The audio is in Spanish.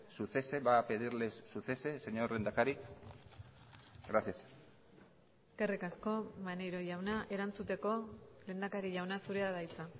su cese va a pedirles su cese señor lehendakari gracias eskerrik asko maneiro jauna erantzuteko lehendakari jauna zurea da hitza